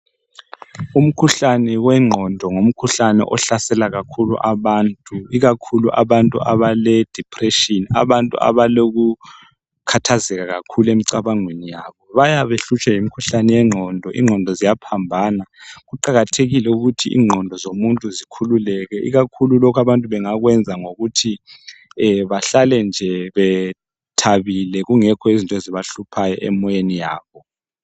Umkhuhlane wengqondo ngumkhuhlane ohlasela kakhulu abantu ikakhulu abantu abale depression, abantu abaloku khathazeka kakhulu emcabangweni yabo, bayabebehlutshwa yimkhuhlane ye ngqondo. Ingqondo ziyaphambana. Kuqakathekile ukuthi ingqondo zomuntu zikhululeke ikakhulu lokhu abantu bengakwenza ngokuthi bahlale nje bethabile kungekho izinto ezibahluphayo emoyeni yabo